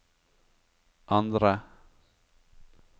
andre